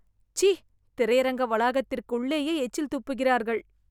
சீ திரையரங்க வளாகத்திற்கு உள்ளேயே எச்சில் துப்புகிறார்கள்